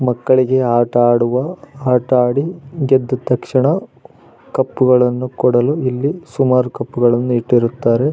ಮಕ್ಕಳಿಗೆ ಆಟ ಆಡುವ ಆಟ ಆಡಿ ಗೆದ್ದ ತಕ್ಷಣ ಕಪ್ಪುಗಳನ್ನು ಕೊಡಲು ಇಲ್ಲಿ ಸುಮಾರು ಕಪ್ಪುಗಳನ್ನು ಇಟ್ಟಿರುತ್ತಾರೆ.